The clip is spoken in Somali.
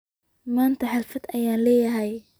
Manta haflad ayan leynahy.